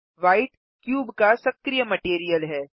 white cube का सक्रिय material है